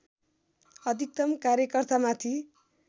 अधिकतम कार्यकर्तामाथि